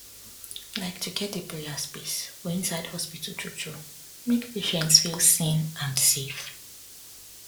like to get a prayer space for inside hospital truetrue make patients feel seen and safe